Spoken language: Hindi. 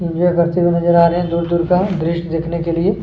करते हुए नज़र आ रहे हैं दूर-दूर का दृश्य देखने के लिए--